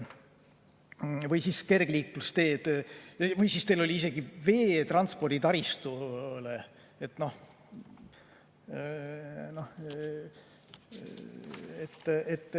Või siis kergliiklusteed ja teil oli isegi veetransporditaristu.